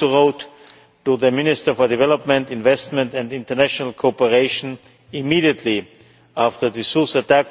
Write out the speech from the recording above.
I also wrote to the Minister for Development, Investment and International Cooperation immediately after the Sousse attack